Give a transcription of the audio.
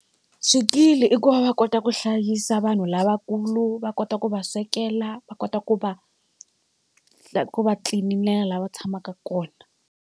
Swikili i ku va va kota ku hlayisa vanhu lavakulu va kota ku va swekela va kota ku va ku va tlilinela la va tshamaka kona.